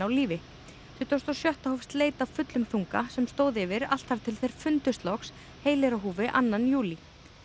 lífi tuttugasta og sjötta hófst leit af fullum þunga sem stóð yfir allt þar til þeir fundust loks heilir á húfi annan júlí